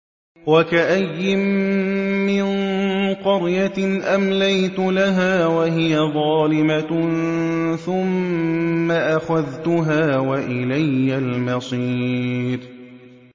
وَكَأَيِّن مِّن قَرْيَةٍ أَمْلَيْتُ لَهَا وَهِيَ ظَالِمَةٌ ثُمَّ أَخَذْتُهَا وَإِلَيَّ الْمَصِيرُ